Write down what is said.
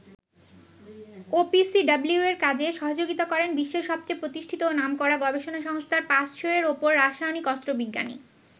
ওপিসিডাব্লিউ-র কাজে সহযোগিতা করেন বিশ্বের সবচেয়ে প্রতিষ্ঠিত ও নামকরা গবেষণা সংস্থার ৫শ’য়ের ওপর রাসায়নিক অস্ত্র বিজ্ঞানী।